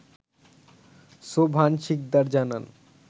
সোবহান শিকদার জানান